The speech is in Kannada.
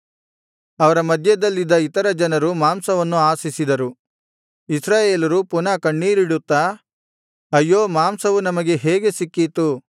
ಅವರ ಮಧ್ಯದಲ್ಲಿದ್ದ ಇತರ ಜನರು ಮಾಂಸವನ್ನು ಆಶಿಸಿದರು ಇಸ್ರಾಯೇಲರು ಪುನಃ ಕಣ್ಣೀರಿಡುತ್ತಾ ಅಯ್ಯೋ ಮಾಂಸವು ನಮಗೆ ಹೇಗೆ ಸಿಕ್ಕೀತು